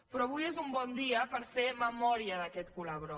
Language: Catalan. però avui és un bon dia per fer memòria d’aquest serial